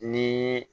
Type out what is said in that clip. Ni